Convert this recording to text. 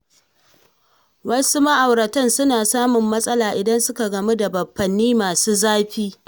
Wasu ma’aurata suna samun matsala idan suka gamu da baffanni masu zafi.